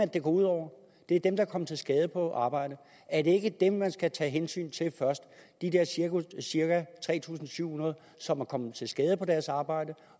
det går ud over det er dem der er kommet til skade på arbejdet er det ikke dem man skal tage hensyn til først de cirka tre tusind syv hundrede som er kommet til skade på deres arbejde